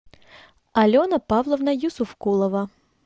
алена павловна юсуфкулова